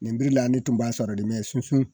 Nin b'i la ne tun b'a sɔrɔ de sunsun